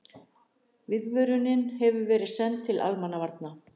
Viðvörunin hefur verið sent til almannavarna